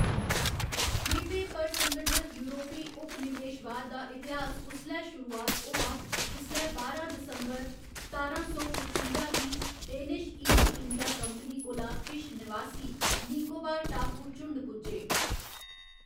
द्वीपें पर संगठत यूरोपी उपनिवेशवाद दा इतिहास उसलै शुरूआत होआ जिसलै बारां दिसंबर सतारां सौ पचुंजा गी डेनिश ईस्ट इंडिया कंपनी कोला किश नवासी निकोबार टापू झुण्ड पुज्जे।